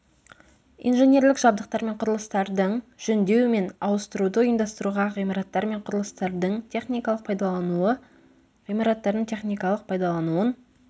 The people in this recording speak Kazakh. инженерлік жабдықтар мен құрылыстардың жөндеу мен ауыстыруды ұйымдастыру ғимараттар мен құрылыстардың техникалық пайдаланылуы ғимараттардың техникалық пайдалануын